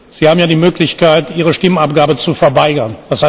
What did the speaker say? Sie haben ja die Möglichkeit, Ihre Stimmabgabe zu verweigern.